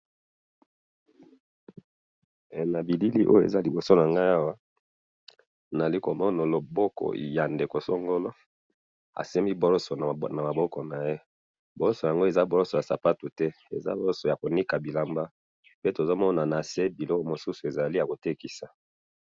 he na bilili awa eza kioso nangayi awa azwi brosse na liboko naye pe ezali brosse ya mutu te ezali brosse ya bilamba pe tomoni nase eza biloko ya kotekisa